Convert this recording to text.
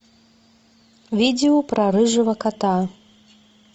видео про рыжего кота